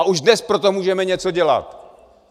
A už dnes pro to můžeme něco dělat!